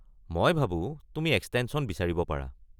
মই ভাবো তুমি এক্সটেনশ্যন বিচাৰিব পাৰা।